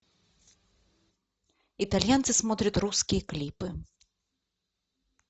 итальянцы смотрят русские клипы